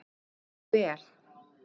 Hún gekk vel.